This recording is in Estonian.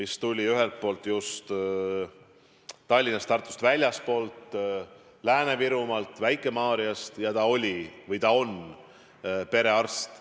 See arst tuli just Tallinnast ja Tartust väljastpoolt, Lääne-Virumaalt Väike-Maarjast, ja ta on perearst.